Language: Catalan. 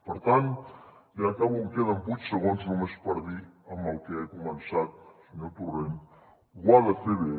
per tant ja acabo em queden vuit segons només per dir amb el que he començat senyor torrent ho ha de fer bé